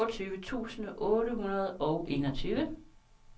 toogtyve tusind otte hundrede og enogtyve